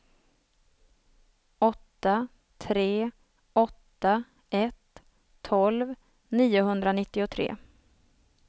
åtta tre åtta ett tolv niohundranittiotre